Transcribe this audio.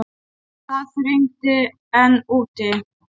Það þarf engin orð.